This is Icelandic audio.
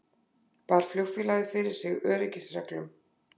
Bar flugfélagið fyrir sig öryggisreglum